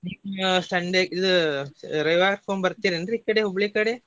ನೀವ್ Sunday ಇದ ರವಿವಾರಕೊಮ್ಮೆ ಬರ್ತೆರಿ ಏನ್ರೀ ಈಕಡೆ Hubli ಕಡೆ?